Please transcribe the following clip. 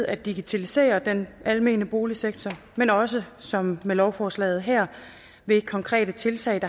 at digitalisere den almene boligsektor men også som med lovforslaget her ved konkrete tiltag